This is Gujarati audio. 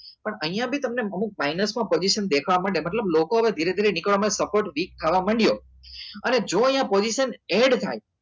પણ અહિયાં બી તમને minus માં position દેખવા માંડે મતલબ લોકો હવે ધીરે ધીરે નીકળવા માં support week થવા માંડ્યો અને જો અહિયાં position add થાય